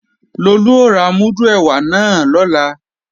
Lolú ó ra múdù ẹ̀wà náà lọ́la